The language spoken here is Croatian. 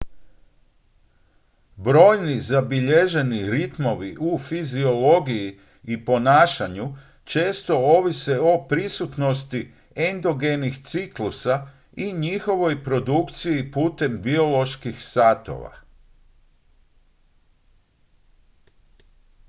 brojni zabilježeni ritmovi u fiziologiji i ponašanju često ovise o prisutnosti endogenih ciklusa i njihovoj produkciji putem bioloških satova